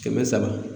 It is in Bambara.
Kɛmɛ saba